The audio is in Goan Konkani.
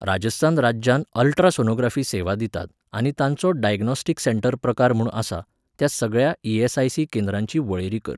राजस्थान राज्यांत अल्ट्रासोनोग्राफी सेवा दितात आनी तांचो डायग्नॉस्टिक सँटर प्रकार म्हूण आसा, त्या सगळ्या ई.एस.आय.सी. केंद्रांची वळेरी कर.